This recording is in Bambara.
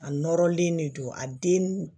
A nɔrɔlen de don a den